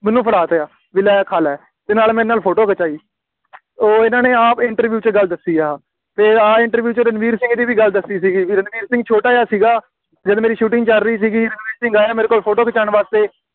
ਮੈਨੂੰ ਫੜ੍ਹਾ ਦਿੱਤਾ, ਬਈ ਲੈ ਖਾ ਲੈ ਅਤੇ ਨਾਲ ਮੇਰੇ ਨਾਲ ਫੋਟੋ ਖਿੱਚਾਈ, ਉਹ ਇਨ੍ਹਾ ਨੇ ਆਪ interview ਵਿੱਚ ਗੱਲ ਦੱਸੀ ਆ ਅਤੇ ਆਹ interview ਵਿੱਚ ਰਣਬੀਰ ਸਿੰਘ ਦੀ ਵੀ ਗੱਲ ਦੱਸੀ ਸੀਗੀ, ਬਈ ਰਣਬੀਰ ਸਿੰਘ ਛੋਟਾ ਜਿਹਾ ਸੀਗਾ, ਜਦ ਮੇਰੀ shooting ਚੱਲ ਰਹੀ ਸੀਗੀ, ਰਣਬੀਰ ਸਿੰਘ ਆਇਆ ਮੇਰੇ ਕੋਲ ਫੋਟੋ ਖਿਚਾਉਣ ਵਾਸਤੇ